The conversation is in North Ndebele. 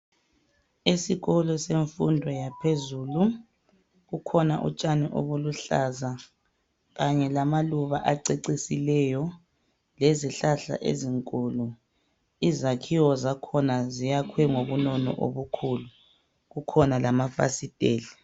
Esikolo semfundo yaphezulu kukhona utshani obuluhlaza kanye lamaluba acecisileyo lezihlahla ezinkulu izakhiwo zakhona ziyakhwe ngobunono obukhulu kukhona lamafasiteli.